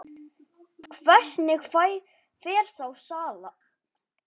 Hvernig fer þá salan?